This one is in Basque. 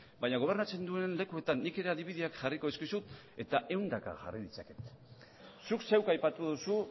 baina gobernatzen duen lekuetan nik ere adibideak jarriko dizkizut eta ehundaka jarri ditzaket zuk zeuk aipatu duzu